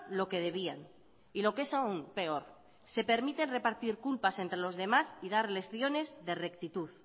lo que debían y lo que es aún peor se permiten repartir culpas entre los demás y dar lecciones de rectitud